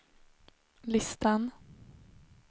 listan